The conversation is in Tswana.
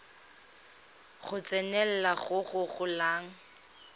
go tsenelela go go golang